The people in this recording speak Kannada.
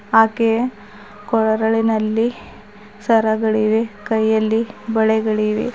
ಆಕೆಯ ಕೊರಳಿನಲ್ಲಿ ಸರಗಳಿವೆ ಕೈಯಲ್ಲಿ ಬಳೆಗಳಿವೆ.